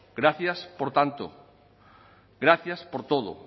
gracias por tanto gracias por todo